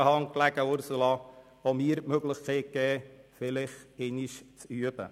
Es lag in Ihrer Hand, Ursula Zybach, auch mir die Möglichkeit zu geben, vielleicht einmal zu üben.